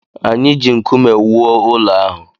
Anyị ji nkume wuo ụlọ ahụ